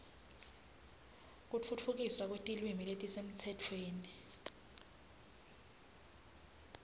kutfutfukiswa kwetilwimi letisemtsetfweni